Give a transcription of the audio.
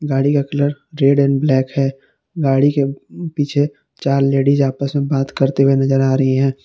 गाड़ी का colour red and black है गाड़ी के पीछे चार लेडीज आपस में बात करते हुए नजर आ रही है।